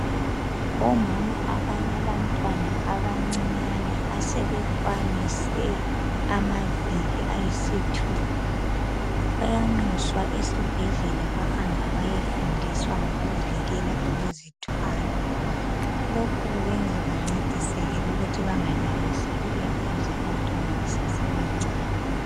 Omama abalabantwana abancinyane asebekwanise amaviki ayisithipha, bayanxuswa esibhedlela bahambe bayefundiswa ngokuvikela ukuzithwala. Lokho kubenza bancediseke ukuthi bengalamiseli eduze abantwana besasebancane.